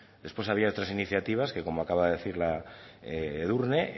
después había otras iniciativas que como acaba de decir edurne